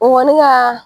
O kɔni ka